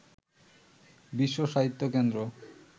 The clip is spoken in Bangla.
বিশ্ব সাহিত্য কেন্দ্র